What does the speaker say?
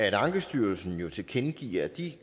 at ankestyrelsen jo tilkendegiver at de